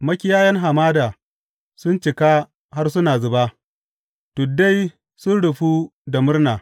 Makiyayan hamada sun cika har suna zuba; tuddai sun rufu da murna.